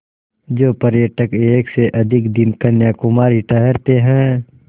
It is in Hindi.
जो पर्यटक एक से अधिक दिन कन्याकुमारी ठहरते हैं